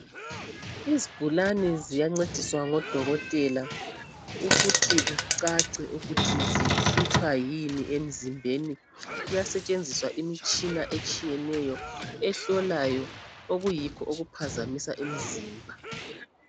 Izigulane ziyancediswa ngodokotela ukuthi kucace ukuthi zihlutshwa yini emzimbeni. Kuyasetshenziswa imitshina etshiyeneyo ehlolayo okuyikho okuphazamisa imizimba.